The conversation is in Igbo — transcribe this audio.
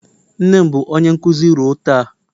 Nne m bụ onye nkuzi ruo taa